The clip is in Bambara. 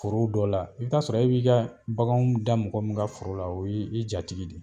Foro dɔ la i t'a sɔrɔ e b'i ka baganw da mɔgɔ min ka foro la o ye i jatigi